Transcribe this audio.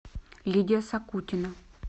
лидия сакутина